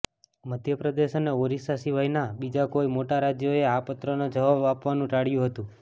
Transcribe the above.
મધ્યપ્રદેશ અને ઓરિસ્સા સિવાયના બીજા કોઇ મોટા રાજ્યોએ આ પત્રનો જવાબ આપવાનું પણ ટાળ્યું હતું